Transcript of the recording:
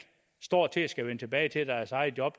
står til at skulle vende tilbage til deres eget job